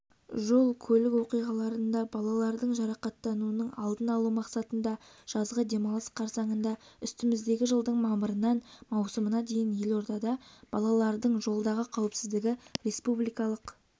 жол-көлік оқиғаларында балалардың жарақаттануының алдын алу мақсатында жазғы демалыс қарсаңында үстіміздегі жылдың мамырынан маусымына дейін елордада балалардың жолдағы қауіпсіздігі республикалық